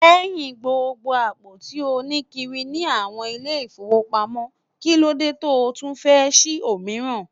Lẹ́hìn gbogbo àpò tí ó ní kiri ní àwọn ilé-ifowopamo, kí ló dé tó tún fẹ́ sí òmíràn?